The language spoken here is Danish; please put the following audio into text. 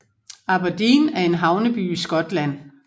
Aberdeen er en havneby i Skotland